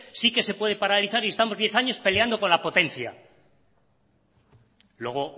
sí que se puede paralizar y estamos diez años peleando con la potencia luego